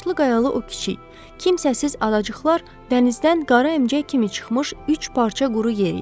Daşlı qayalı o kiçik, kimsəsiz adacıqlar dənizdən qara əmcək kimi çıxmış üç parça quru yer idi.